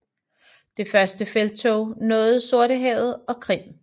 Det første felttog nåede Sortehavet og Krim